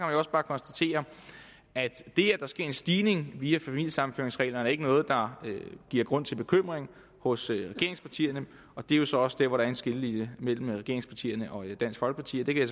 jo også bare konstatere at det at der sker en stigning via familiesammenføringsreglerne ikke er noget der giver grund til bekymring hos regeringspartierne og det er jo så også der hvor der er en skillelinje mellem regeringspartierne og dansk folkeparti og det kan